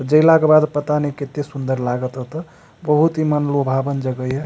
जेला के बाद पता ने कते सुंदर लागत होते बहुत इ मन लुभावन जगह या।